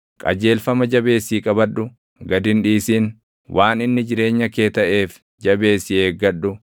Qajeelfama jabeessii qabadhu; gad hin dhiisin; waan inni jireenya kee taʼeef jabeessii eeggadhu.